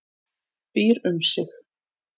Býr um sig.